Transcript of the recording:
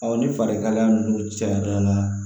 ni farikalaya ninnu cayara n na